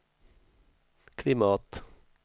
klimat